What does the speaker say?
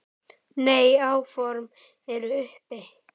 Nei, áform eru uppi